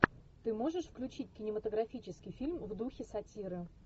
ты можешь включить кинематографический фильм в духе сатиры